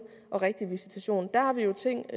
og rigtige visitation der har vi ting